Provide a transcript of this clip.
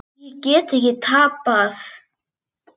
Ég get ekki tapað.